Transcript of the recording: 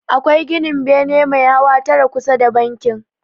Akwai ginin bene mai hawa tara kusa da bankin.